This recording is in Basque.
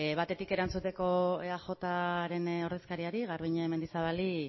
batetik erantzuteko eajren ordezkariai garbiñe mendizabali